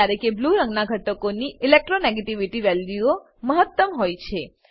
જ્યારે કે બ્લૂ રંગનાં ઘટકોની ઇલેક્ટ્રોનેગેટિવિટી વેલ્યુઓ મહત્તમ હોય છે